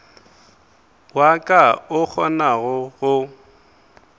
wa ka o kgonago go